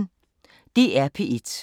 DR P1